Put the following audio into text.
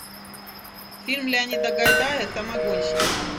фильм леонида гайдая самогонщики